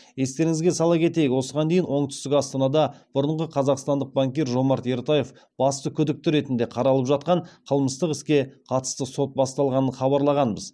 естеріңізге сала кетейік осыған дейін оңтүстік астанада бұрынғы қазақстандық банкир жомарт ертаев басты күдікті ретінде қаралып жатқан қылмыстық іске қатысты сот басталғанын хабарлағанбыз